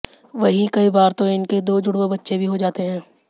वहीं कई बार तो इनके दो जुडवां बच्चे भी हो जाते हैं